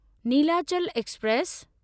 Nilachal express